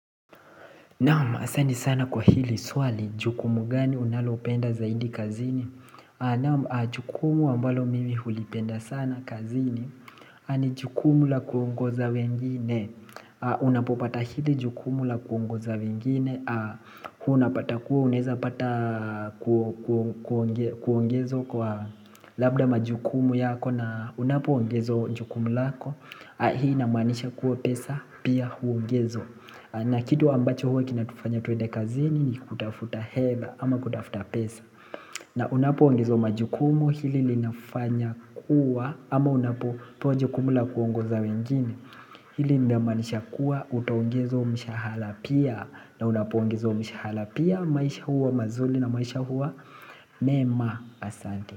Naam asante sana kwa hili swali jukumu gani unalopenda zaidi kazini Naam jukumu ambalo mimi hulipenda sana kazini ni jukumu la kuongoza wengine unapopata hili jukumu la kuongoza wengine Unapata kuwe uneza pata kuongezwa kwa labda majukumu yako na Unapoongezwa jukumu lako Hii inamanisha kuwe pesa pia huongezwa na kitu ambacho huwa kinatufanya tuende kazini ni kutafuta heba ama kutafuta pesa. Na unapoongezwa majukumu hili linafanya kuwa ama unapopewa jukumu la kuongoza wengine hili linamaanisha kuwa utaongezwa mshahala pia na unapo ongezwa mshahala pia maisha huwa mazuli na maisha huwa mema asante.